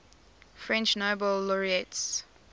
french nobel laureates